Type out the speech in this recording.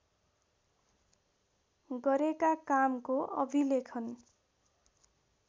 गरेका कामको अभिलेखन